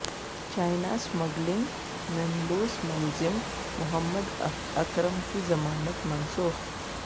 China smuggling میںملوث ملزم محمد اکرم کی ضمانت منسوخ